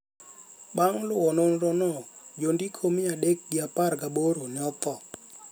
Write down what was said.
bang’ luwo nonro no, jondiko mia adek gi apar gaboro ne otho